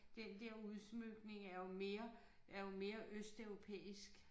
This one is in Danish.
Den der udsmykning er jo mere er jo mere østeuropæisk